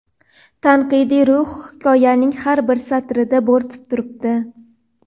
tanqidiy ruh hikoyaning har bir satrida bo‘rtib turibdi.